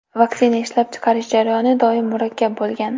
Vaksina ishlab chiqarish jarayoni doim murakkab bo‘lgan.